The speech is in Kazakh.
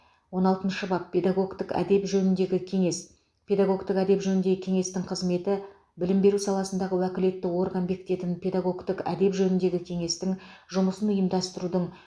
он алтыншы бап педагогтік әдеп жөніндегі кеңес педагогтік әдеп жөніндегі кеңестің қызметі білім беру саласындағы уәкілетті орган бекітетін педагогтік әдеп жөніндегі кеңестің жұмысын ұйымдастырудың